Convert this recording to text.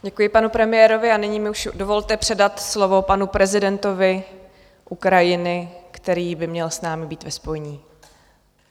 Děkuji panu premiérovi a nyní mi už dovolte předat slovo panu prezidentovi Ukrajiny, který by měl s námi být ve spojení.